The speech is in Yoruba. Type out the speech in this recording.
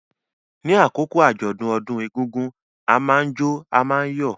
Ní àkókò àjọ̀dún ọdún egúngún, a máa jó, a máa yọ̀.